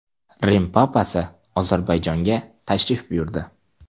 Rim papasi Ozarbayjonga tashrif buyurdi.